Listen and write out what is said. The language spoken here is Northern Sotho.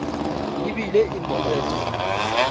e bile e mo eta